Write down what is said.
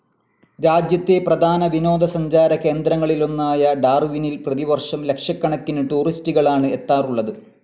രാജ്യത്തെ പ്രധാന വിനോദസഞ്ചാരകേന്ദ്രങ്ങളിലൊന്നായ ഡാർവിനിൽ പ്രതിവർഷം ലക്ഷക്കണക്കിന് ടൂറിസ്റ്റ്കളാണ് എത്താറുള്ളത്.